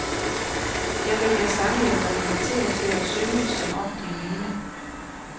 Jeg vælger sange, jeg kan relatere til og synge som om, de er mine.